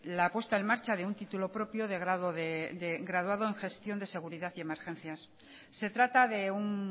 la puesta en marcha de un título propio de graduado en gestión de seguridad y emergencias se trata de un